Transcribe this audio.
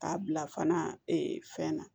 K'a bila fana fɛn na